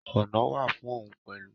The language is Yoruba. Ọ̀ná wà fún un pẹ̀lú.